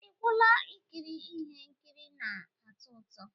Ị gwụla ikiri ihe nkiri na-atọ ọchị?